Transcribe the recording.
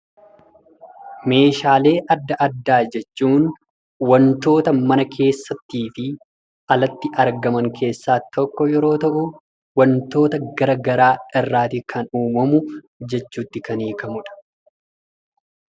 Meeshaalee adda addaa jechuun wantoota mana keessattiifi ala irratti argaman keessaa tokko yemmuu ta'u, wantoota gara garaa irraati kan uumamu jechuutti kan hiikamudha.